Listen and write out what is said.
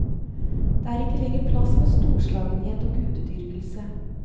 Det er ikke lenger plass for storslagenhet og gudedyrkelse.